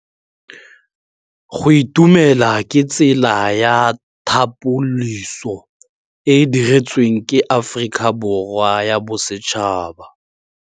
Go itumela ke tsela ya tlhapolisô e e dirisitsweng ke Aforika Borwa ya Bosetšhaba.